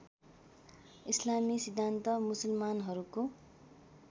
इस्लामी सिद्धान्त मुसलमानहरूको